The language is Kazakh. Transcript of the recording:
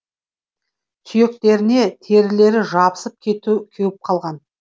сүйектеріне терілері жабысып кеуіп қалған